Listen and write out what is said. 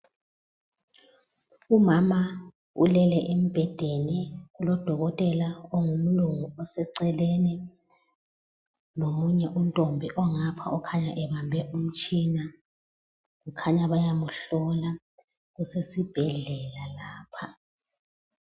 Umama ulele embhedeni kulodokotela ongumlungu oseceleni lomunye untombi ongapha okhanya ebambe umtshina kukhanya bayamhlola kusesibhedlela lapha.